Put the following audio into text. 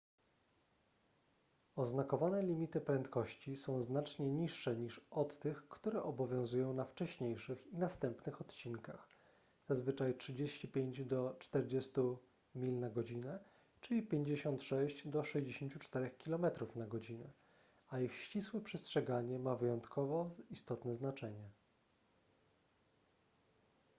oznakowane limity prędkości są znacznie niższe niż od tych które obowiązują na wcześniejszych i następnych odcinkach zazwyczaj 35–40 mph czyli 56–64 km/h a ich ścisłe przestrzeganie ma wyjątkowo istotne znaczenie